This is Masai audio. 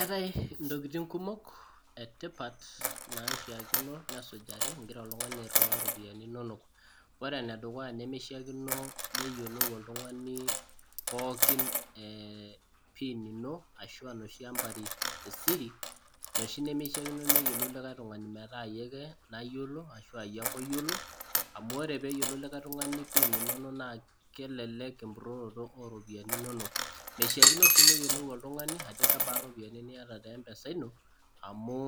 Eetae ntokitin kumok etipatn, naishaakino nesijari. igira oltungani airiwaa iropiyiani inonok, ore ene dukuya nemeishaa neyiolou oltungani pookin pin ino ashu inoshi ampari esiri. inoshi nimishaakino neyiolou likae tungani metaa iyie ake, nayiolo. amu ore ake peeyiolou likae tungani pin inono naa kelelek empuroroto ooropiyiani inonok. meishaakino sii neyiolou oltungani ajo kebaa, ropiyiani niata te mpesa ino. amu